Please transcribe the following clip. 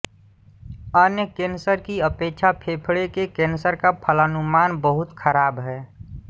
अन्य कैंसर की अपेक्षा फेफड़े के कैंसर का फलानुमान बहुत खराब है